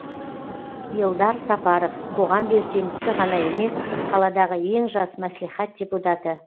елдар сапаров қоғам белсендісі ғана емес қаладағы ең жас мәслихат депутаты